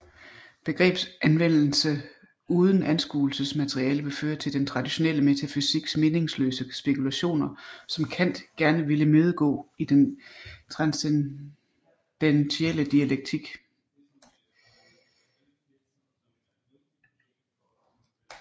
Begrebsanvendelse uden anskuelsesmateriale vil føre til den traditionelle metafysiks meningsløse spekulationer som Kant gerne ville imødegå i den transcendentielle dialektik